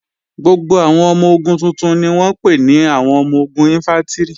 Gbogbo àwọn ọmọ-ogun tuntun ni wọ́n ń pè ní àwọn ọmọ-ogun Ìnfántrì